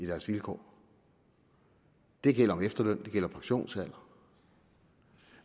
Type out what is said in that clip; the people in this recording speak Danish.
deres vilkår det gælder efterløn og det gælder pensionsalder